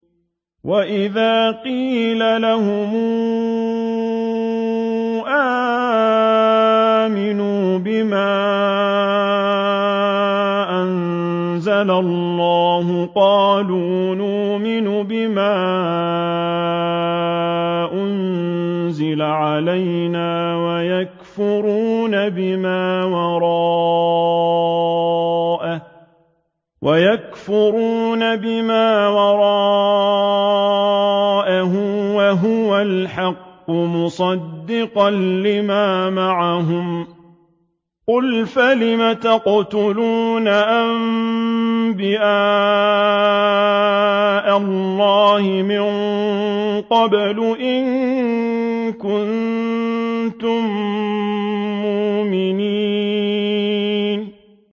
وَإِذَا قِيلَ لَهُمْ آمِنُوا بِمَا أَنزَلَ اللَّهُ قَالُوا نُؤْمِنُ بِمَا أُنزِلَ عَلَيْنَا وَيَكْفُرُونَ بِمَا وَرَاءَهُ وَهُوَ الْحَقُّ مُصَدِّقًا لِّمَا مَعَهُمْ ۗ قُلْ فَلِمَ تَقْتُلُونَ أَنبِيَاءَ اللَّهِ مِن قَبْلُ إِن كُنتُم مُّؤْمِنِينَ